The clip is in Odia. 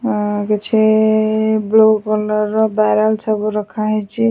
ଅଁ କିଛି ବ୍ଲୁ କଲର ର ବ୍ୟାରେଲ୍ ସବୁ ରଖା ହେଇଚି।